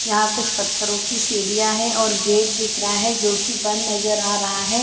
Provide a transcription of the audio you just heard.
यहाँ कुछ पत्थरो की सीढ़िया है और गेट दिख रहा हैं जो की बंद नज़टर आ रहा है।